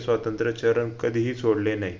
स्वात्यंत्रचरण कधीही सोडले नयी